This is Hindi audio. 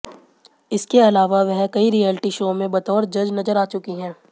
इसके अलावा वह कई रियालिटी शो में बतौर जज नजर आ चुकी हैं